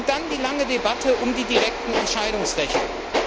Dann die lange Debatte um die direkten Entscheidungsrechte.